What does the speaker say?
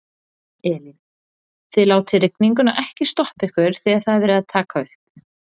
Elín: Þið látið rigninguna ekkert stoppa ykkur þegar það er verið að taka upp?